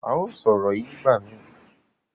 a yóò sọ ọrọ yíì nigbamii.